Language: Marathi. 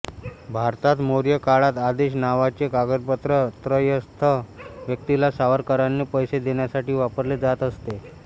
भारतात मौर्य काळात आदेश नावाचे कागदपत्र त्रयस्थ व्यक्तीला सावकाराने पैसे देण्यासाठी वापरले जात असते